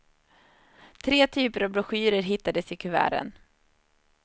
Tre typer av broschyrer hittades i kuverten.